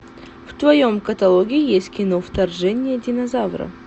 в твоем каталоге есть кино вторжение динозавра